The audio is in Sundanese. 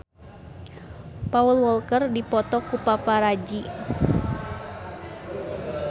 Paul Walker dipoto ku paparazi